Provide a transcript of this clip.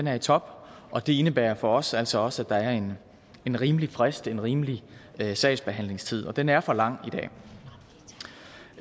er i top og det indebærer for os altså også at der er en en rimelig frist en rimelig sagsbehandlingstid og den er for lang